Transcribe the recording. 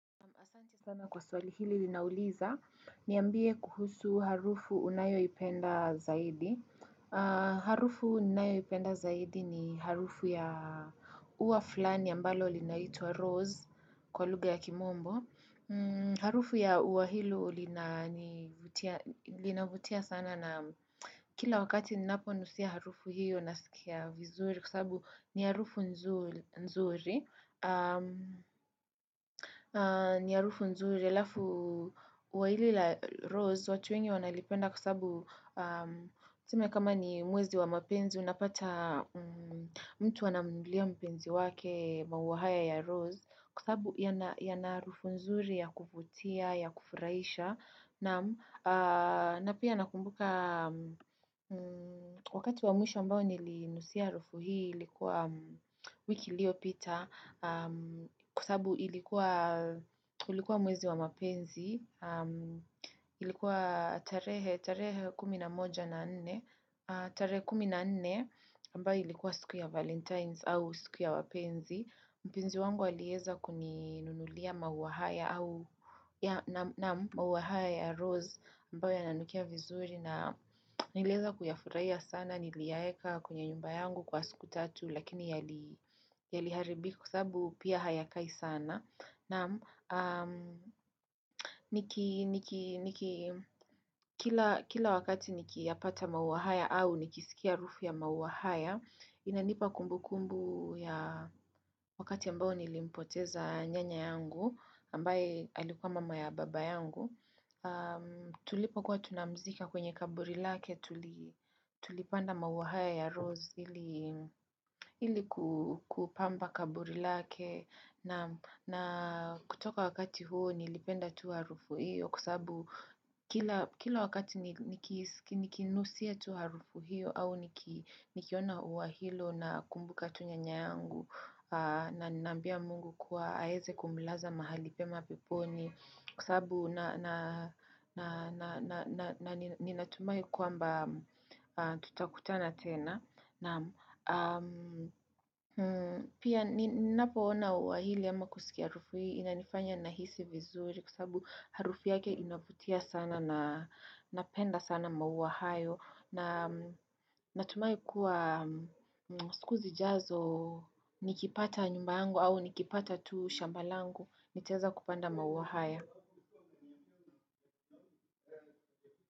Asante sana kwa swali hili linauliza, niambie kuhusu harufu unayoipenda zaidi. Harufu ninayoipenda zaidi ni harufu ya ua fulani ambalo linaitwa Rose kwa lugha ya Kiingereza. Harufu ya ua hilo linanifutia Linavutia sana na kila wakati ninaponusia harufu hiyo, nasikia vizuri kwa sababu ni harufu nzuri. Ni harufu nzuri. La pili, la Rose, watu wengi wanalipenda kwa sababu, kama ni mwezi wa mapenzi, unapata mtu anampelekea mpenzi wake maua ya Rose kwa sababu yana harufu nzuri, ya kufurahisha. Na pia nakumbuka wakati wa mwisho niliponusia harufu hii, kwa wiki iliyopita, kwa sababu ilikuwa mwezi wa mapenzi. Ilikuwa tarehe kumi na moja na nne tarehe kumi na nene ambayo ilikuwa siku ya valentines au siku ya wapenzi mpenzi wangu aliweza kuninunulia maua haya na maua haya ya Rose ambayo yananukia vizuri na niliweza kuyafurahia sana, niliyaweka kwenye nyumba yangu kwa siku tatu lakini yaliharibika, kwa sababu pia hayakai sana. Kila wakati ninapoyapata maua haya au nikisikia harufu ya maua haya, inanipa kumbukumbu ya wakati ambao nilimpoteza nyanya yangu, ambaye alikuwa mama wa baba yangu. Tulipokuwa tunamzika kwenye kaburi lake. Tulipanda maua haya ya rose Ili kupamba kaburi lake, na kutoka wakati huo nilipenda tu harufu hiyo kwa sababu. Kila wakati nikinusia tu harufu hiyo au nikiona ua hilo, namkumbuka nyanya yangu na namwambia Mungu aweze kumlaza mahali pema popote, kwa sababu na ninatumai kwamba tutakutana tena na Pia ninapoona ua hili ama kusikia harufu hii, inanifanya Nahisi vizuri kwa sababu harufu yake inavutia sana na Napenda sana maua hayo na natumai kuwa siku zijazo nikipata nyumba yangu au nikipata tu shamba langu nitaweza kupanda maua haya.